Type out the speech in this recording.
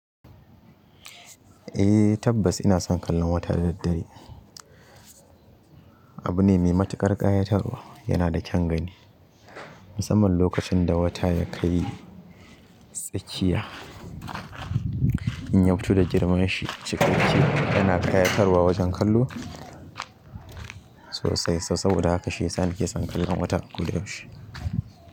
Eh tabbas ina son kallon wata da daddare. Abu ne mai matuƙar ƙayatarwa, yana da kyan gani. Musamman lokacin da wata ya kai tsakiya. In ya fito da girman shi cikakke yana ƙayatarwa wajen kallo sosai. So saboda haka shi ya sa nake son kallon wata kullum a koda yaushe.